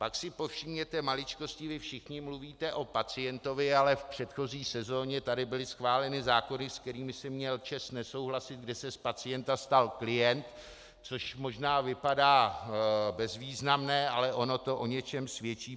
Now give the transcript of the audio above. Pak si povšimněte maličkosti, kdy všichni mluvíte o pacientovi, ale v předchozí sezóně tady byly schváleny zákony, se kterými jsem měl čest nesouhlasit, kde se z pacienta stal klient, což možná vypadá bezvýznamné, ale ono to o něčem svědčí.